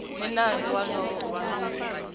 ni nandzu wolowo u ta